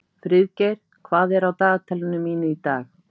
Friðgeir, hvað er á dagatalinu mínu í dag?